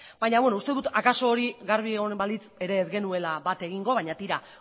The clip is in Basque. baina beno uste dut akaso hori garbi egonen balitz ere ez genuela bat egingo baina tira